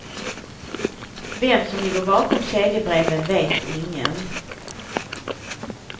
Vem som ligger bakom kedjebreven vet ingen.